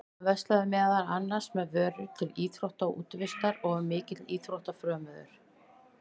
Hann verslaði meðal annars með vörur til íþrótta og útivistar og var mikill íþróttafrömuður.